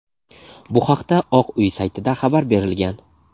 Bu haqda Oq uy saytida xabar berilgan.